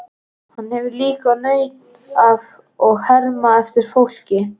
Hann hefur líka nautn af að herma eftir fólki.